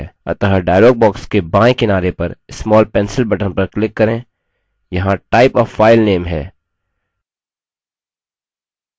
अतः dialog box के बायें किनारे पर small pencil button पर click करें यहाँ type a file name है